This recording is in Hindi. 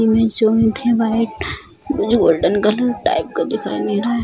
जो व्हाइट गोल्डन कलर टाइप का दिखाई दे रहा है।